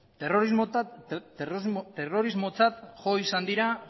terrorismotzat jo izan dira